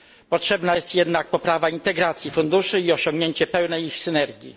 Potrzebna jest jednak poprawa integracji funduszy i osiągnięcie pełnej ich synergii.